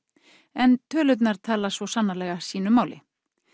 en tölurnar tala svo sannarlega sínu máli